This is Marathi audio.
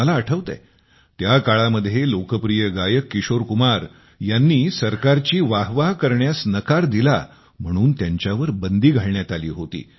मला आठवतेय त्याकाळामध्ये लोकप्रिय गायक किशोर कुमार यांनी सरकारची वाहवाह करण्यास नकार दिला म्हणून त्यांच्यावर बंदी घालण्यात आली होती